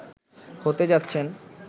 হতে যাচ্ছেন